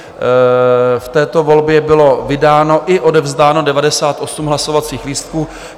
V této volbě bylo vydáno i odevzdáno 98 hlasovacích lístků.